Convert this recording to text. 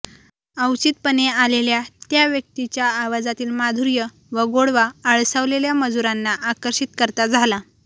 अवचितपणे आलेल्या त्या व्यक्तीच्या आवाजातील माधुर्य व गोडवा आळसावलेल्या मजुरांना आकर्षित करता झाला